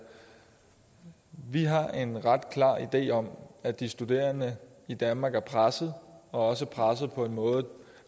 vi har en ret klar idé om at de studerende i danmark er pressede og også pressede på en måde